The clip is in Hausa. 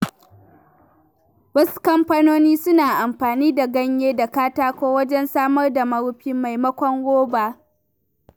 Wasu kamfanoni suna amfani da ganye da katako wajen samar da marufi maimakon roba.